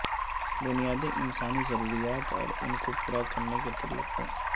بنیادی انسانی ضروریات اور ان کو پورا کرنے کے طریقوں